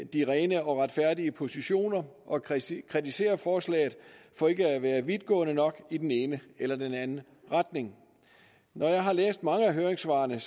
de rene og retfærdige positioner og kritisere kritisere forslaget for ikke at være vidtgående nok i den ene eller den anden retning jeg har læst i mange af høringssvarene